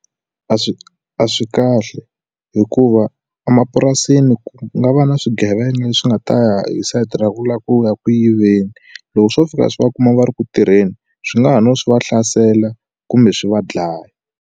A swi a swi kahle hikuva emapurasini ku nga va na swigevenga leswi nga ta ya hi site ra ku lava ku ya eku yiveni loko swo fika swi va kuma va ri ku tirheni swi nga ha no swi va hlasela kumbe swi va dlaya.